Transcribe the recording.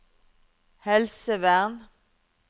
helsevern